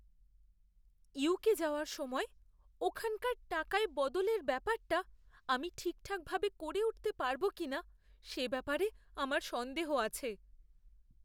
UK যাওয়ার সময় ওখানকার টাকায় বদলের ব্যাপারটা আমি ঠিকভাবে করে উঠতে পারবো কিনা সে ব্যাপারে আমার সন্দেহ আছে।